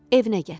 Evinə gətirdi.